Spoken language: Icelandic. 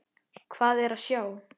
Hvað er að sjá